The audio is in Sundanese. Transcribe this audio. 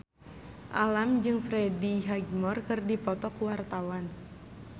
Alam jeung Freddie Highmore keur dipoto ku wartawan